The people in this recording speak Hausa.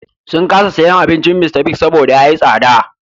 Sun kasa sayen kayan Mr. Biggs saboda ya yi tsada.